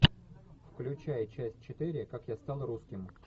включай часть четыре как я стал русским